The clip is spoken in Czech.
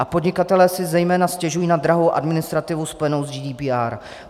A podnikatelé si zejména stěžují na drahou administrativu spojenou s GDPR.